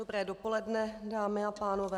Dobré dopoledne, dámy a pánové.